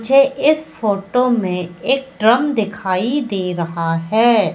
मुझे इस फोटो में एक बड़ा टेबिल दिखाई दे रहा है।